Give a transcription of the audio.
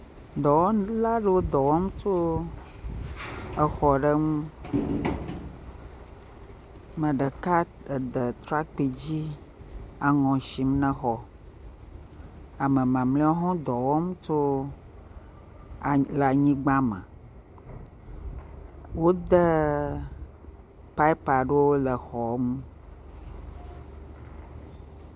Dɔwɔla aɖewo dɔ wɔm tso exɔ aɖe ŋu. Ame ɖeka ede trakpi dzi aŋɔ sim na xɔ. Ame mamleawo hã wo dɔ wɔm tso le anyigba me. Wode pɔpi aɖewo le xɔ me.